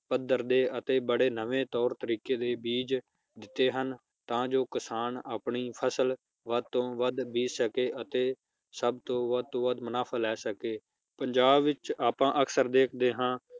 ਪੱਧਰ ਦੇ ਅਤੇ ਬੜੇ ਨਵੇਂ ਤੌਰ ਤਰੀਕੇ ਦੇ ਬੀਜ ਦਿੱਤੇ ਹਨ ਤਾਂ ਜੋ ਕਿਸਾਨ ਆਪਣੀ ਫਸਲ ਵੱਧ ਤੋਂ ਵੱਧ ਬੀਜ ਸਕੇ ਅਤੇ ਸਬਤੋਂ ਵੱਧ ਤੋਂ ਵੱਧ ਮੁਨਾਫ਼ਾ ਲੈ ਸਕੇ ਪੰਜਾਬ ਵਿਚ ਅਕਸਰ ਆਪਾਂ ਦੇਖਦੇ ਹਾਂ